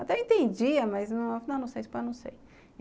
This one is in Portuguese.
Até entendia, mas não sei espanhol, não sei.